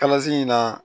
Kalasi in na